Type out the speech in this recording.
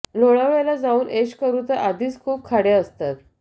लोणावळ्याला जाऊन ऐश करू तर आधीच खूप खाडे असतात